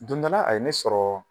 Don dɔ la, a ye ne sɔrɔ